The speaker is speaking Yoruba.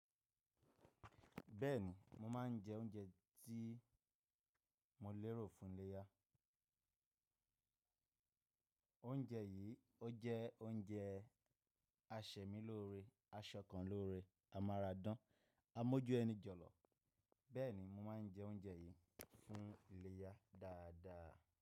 Bẹ́ẹ̀ni, mo máa ń jẹ oúnjẹ tí mo lérò fún ìléyà. Oúnjẹ yìí ó jẹ́ oúnjẹ asẹ̀mí lóore, aṣọ kan lóore, amáradán, amójú ẹni jọ̀lọ̀. Bẹ́ẹ̀ni, mo máa ń jẹ oúnjẹ yìí fún iléyá dáadáa.